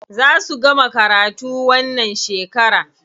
Za su gama karatu wannan shekara.